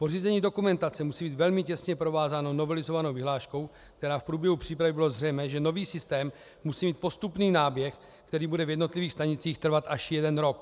Pořízení dokumentace musí být velmi těsně provázáno novelizovanou vyhláškou, kdy v průběhu přípravy bylo zřejmé, že nový systém musí mít postupný náběh, který bude v jednotlivých stanicích trvat až jeden rok.